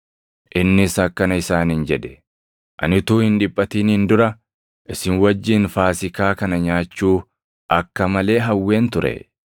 Innis akkana isaaniin jedhe; “Ani utuu hin dhiphatiniin dura isin wajjin Faasiikaa kana nyaachuu akka malee hawween ture.